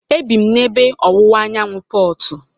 E bi m n'ebe ọwụwa anyanwụ Portu.